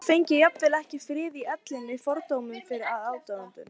Hún fengi jafnvel ekki frið í ellinni fyrir fordómum og aðdáun